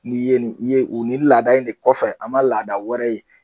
N'i ye nin n'i ye nin laada in de kɔfɛ an man laada wɛrɛ ye.